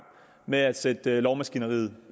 med at sætte lovmaskineriet